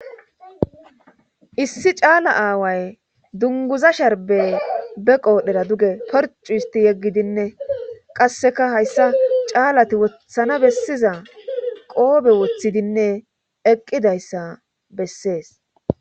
Issi caala aaway dunguza sharbe be qoodhera duge porcu isti yeggidinne qasseka hayssa caalati wothana bessiza qoobe woththidinne eqqidayssa bessees.